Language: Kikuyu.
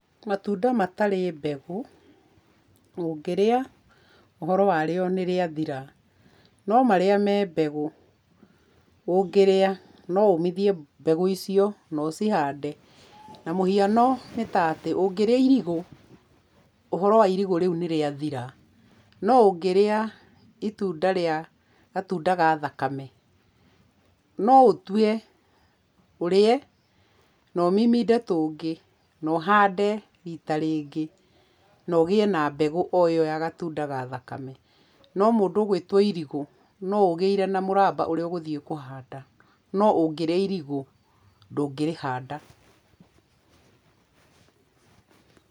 Matunda matarĩ mbegũ, ũngĩrĩa, ũhoro wa rĩo nĩ rĩathira, no marĩa me mbegu, ũngĩrĩa, no ũmithie mbegũ icio, na ũcihande. Na mũhiano nĩ ta atĩ, ũngĩrĩa irigũ, ũhoro wa irigũ rĩu nĩ rĩathira, no ũngĩrĩa itunda rĩa gatunda ga thakame, no ũtue ũrĩe, na ũmiminde tũngĩ, na ũhande rita rĩngĩ na ũgĩe na mbegũ o ĩyo ya gatunda ga thakame, no mũndũ ũgwĩtwo irigũ, no ũgĩire na mũraba ũrĩa ũgũthiĩ kũhanda, no ũngĩrĩa irigũ, ndũngĩrĩhanda.